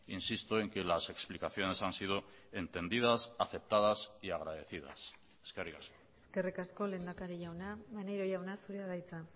insisto en que las explicaciones han sido entendidas aceptadas y agradecidas eskerrik asko eskerrik asko lehendakari jauna maneiro jauna zurea da hitza